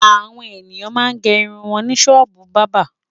Àwọn ènìyàn máa ń gẹ irun wọn ní ṣọ́ọ́bù bábà.